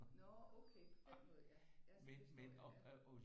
Nårh okay på den måde ja så forstår jeg det ja